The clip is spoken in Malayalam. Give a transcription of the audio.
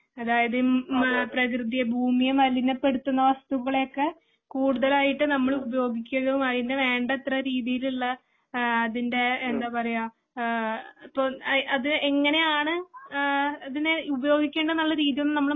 അതായത് പ്രകൃതിയെ ഭൂമിയെ മലിനപ്പെടുത്തുന്ന വസ്തുക്കളെയൊക്കെ കൂടുതലായിട്ട് നമ്മള് ഉപയോഗിക്കുകയും അതിന് വേണ്ടത്ര രീതിയിലുള്ള അതിന്റെ എന്താ പറയാ ഇപ്പോ അത് എങ്ങനെയാണ് അതിനെ ഉപയോഗിക്കേണ്ട എന്നുള്ള രീതി ഒന്നും നമ്മള്